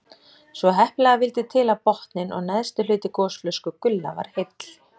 Svo heppilega vildi til að botninn og neðsti hluti gosflösku Gulla var heill.